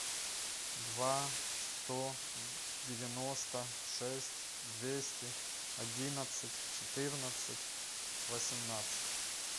два сто девяносто шесть двести одинадцать четырнадцать восемнадцать